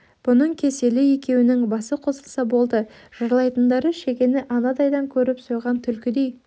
бұның кеселі екеуінің басы қосылса болды жырлайтындары шегені анадайдан көріп сойған түлкідей